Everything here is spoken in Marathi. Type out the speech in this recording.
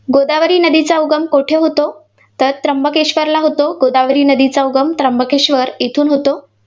गोदावरी नदीचा उगम कोठे होतो? तर त्र्यंबकेश्वरला होतो, गोदावरी नदीचा उगम त्र्यंबकेश्वर येथून होतो.